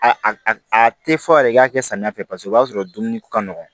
A a tɛ fɔ yɛrɛ i k'a kɛ samiya fɛ paseke o b'a sɔrɔ dumuni ka nɔgɔn